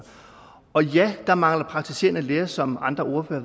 og ja der mangler praktiserende læger som andre ordførere